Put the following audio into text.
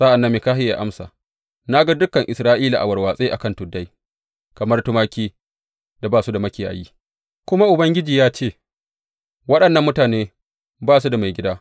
Sa’an nan Mikahiya ya amsa, Na ga dukan Isra’ila a warwatse a kan tuddai kamar tumakin da ba su da makiyayi, kuma Ubangiji ya ce, Waɗannan mutane ba su da maigida.